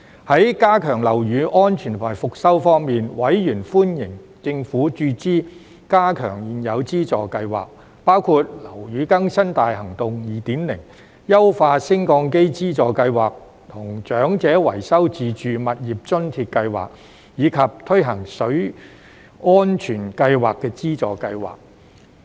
在加強樓宇安全和復修方面，委員歡迎政府注資加強現有資助計劃，包括樓宇更新大行動 2.0、優化升降機資助計劃和長者維修自住物業津貼計劃，以及推行水安全計劃資助計劃。